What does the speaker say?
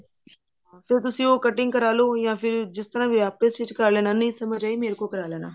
ਹਾਂ ਫ਼ੇਰ ਤੁਸੀਂ ਉਹ cutting ਕਰਾਲੋ ਯਾ ਫਿਰ ਜਿਸ ਤਰ੍ਹਾਂ ਵੀ ਹੈ ਆਪੇ stitch ਕਰ ਲੈਣਾ ਨਹੀਂ ਸਮਝ ਆਈ ਮੇਰੇ ਕੋਲੋਂ ਕਰਾ ਲੈਣਾ